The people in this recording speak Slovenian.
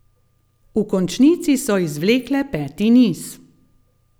V končnici so izvlekle peti niz.